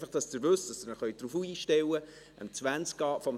Einfach, damit Sie es wissen und sich darauf einstellen können: